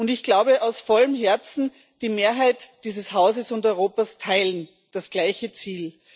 Ich glaube aus vollem Herzen Die Mehrheit dieses Hauses und Europas teilt das gleiche Ziel.